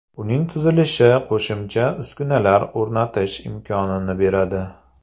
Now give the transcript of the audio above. Uning tuzilishi qo‘shimcha uskunalar o‘rnatish imkonini beradi.